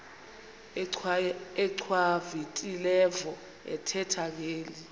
achwavitilevo ethetha ngeli